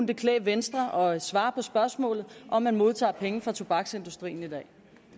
det klæde venstre at svare på spørgsmålet om man modtager penge fra tobaksindustrien i dag